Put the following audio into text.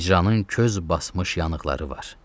Hicranın köz basmış yanıqları var.